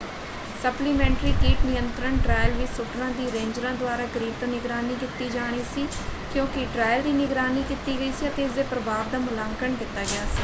Supplementary ਕੀਟ ਨਿਯੰਤਰਣ trial ਵਿੱਚ ਸ਼ੂਟਰਾਂ ਦੀ ਰੇਂਜਰਾਂ ਦੁਆਰਾ ਕਰੀਬ ਤੋਂ ਨਿਗਰਾਨੀ ਕੀਤੀ ਜਾਣੀ ਸੀ ਕਿਉਂਕਿ ਟ੍ਰਾਇਲ ਦੀ ਨਿਗਰਾਨੀ ਕੀਤੀ ਗਈ ਸੀ ਅਤੇ ਇਸਦੇ ਪ੍ਰਭਾਵ ਦਾ ਮੁਲਾਂਕਣ ਕੀਤਾ ਗਿਆ ਸੀ।